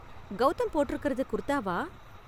கௌதம் போட்டிருக்கறது குர்தாவா?